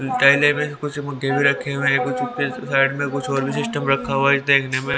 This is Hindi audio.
थैले में कुछ बूटे भी रखे हुए हैं कुछ बूटे साइड में कुछ और भी सिस्टम रखा हुआ है देखने में --